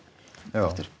aftur